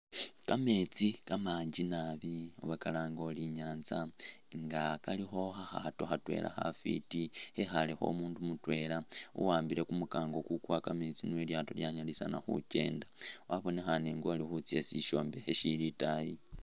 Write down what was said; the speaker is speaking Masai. Kametsi kamanji nabi oba kalange uli inyantsa nga kalikho kha’khaato khatwela khafiti khekhalekho umundu mutwela uwaambile kumukango kukuwa kameetsi nio ilyaato lyanyalisa khukenda wabonekhane nga uli khutsa isi ishombekhe shili itayi.